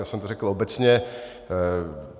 Já jsem to řekl obecně.